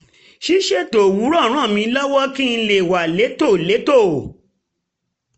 ṣíṣètò owurọ̀ ràn mí lọ́wọ́ kí n lè wà létòlétò